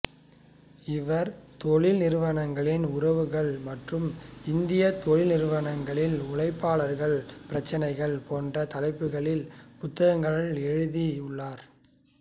இவர் தொழில் நிறுவனங்களின் உறவுகள் மற்றும் இந்திய தொழில் நிறுவனங்களில் உழைப்பாளர் பிரச்சனைகள் போன்ற தலைப்புகளில் புத்தகங்கள் எழுதி உள்ளார்